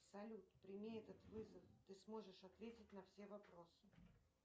салют прими этот вызов ты сможешь ответить на все вопросы